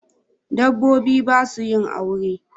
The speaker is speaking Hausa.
Dabobbi basu yin aure